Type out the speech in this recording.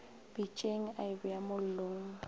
pitšeng a e beya mollong